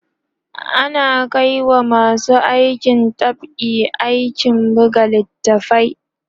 ana Kai wa masu aikin dab'i aikin buga littatafai